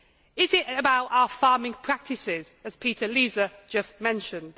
Is it about our farming practices, as Peter Liese just mentioned?